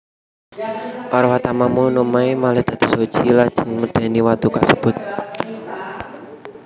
Arwah Tamamo no Mae malih dados Hoji lajeng medeni watu kasebut